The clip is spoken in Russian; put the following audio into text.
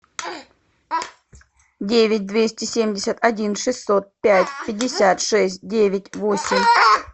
девять двести семьдесят один шестьсот пять пятьдесят шесть девять восемь